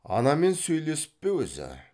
анамен сөйлесіп пе өзі